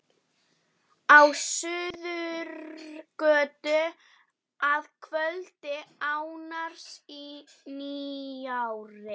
Elísa, stilltu tímamælinn á sjötíu og eina mínútur.